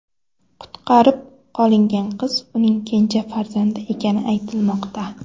Qutqarib qolingan qiz uning kenja farzandi ekani aytilmoqda.